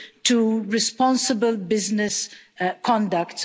to responsible business conduct.